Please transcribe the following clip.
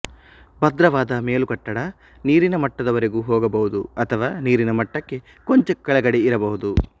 ಭದ್ರವಾದ ಮೇಲುಕಟ್ಟಡ ನೀರಿನ ಮಟ್ಟದವರೆಗೂ ಹೋಗಬಹುದು ಅಥವಾ ನೀರಿನ ಮಟ್ಟಕ್ಕೆ ಕೊಂಚ ಕೆಳಗಡೆ ಇರಬಹುದು